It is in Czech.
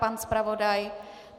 Pan zpravodaj?